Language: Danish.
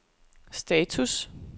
status